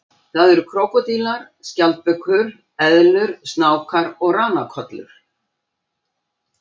Það eru krókódílar, skjaldbökur, eðlur, snákar og ranakollur.